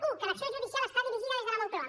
u que l’acció judicial està dirigida des de la moncloa